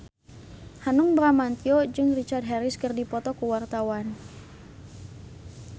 Hanung Bramantyo jeung Richard Harris keur dipoto ku wartawan